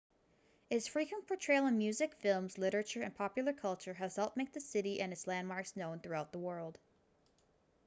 its frequent portrayal in music films literature and popular culture has helped make the city and its landmarks known throughout the world